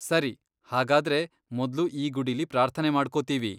ಸರಿ, ಹಾಗಾದ್ರೆ ಮೊದ್ಲು ಈ ಗುಡಿಲಿ ಪಾರ್ಥನೆ ಮಾಡ್ಕೊತೀವಿ.